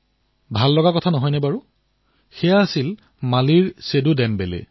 মই নিবেদন কৰিছো যে আমাক পুনৰ বাৰ ভাৰত পৰিদৰ্শন কৰাৰ সুযোগ দিয়া হওক যাতে আমি ভাৰতৰ বিষয়ে শিকিব পাৰো